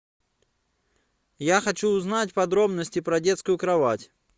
я хочу узнать подробности про детскую кровать